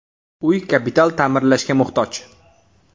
Uy kapital ta’mirlashga muhtoj.